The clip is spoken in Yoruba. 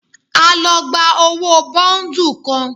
A lọ gba owó bọ́ńdù kan.